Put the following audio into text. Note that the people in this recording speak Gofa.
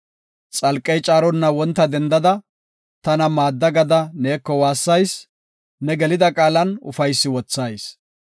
Xalqey caaronna wonta dendada, tana maadda gada neeko waassayis; ne gelida qaalan ufaysi wothayis.